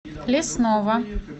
лесного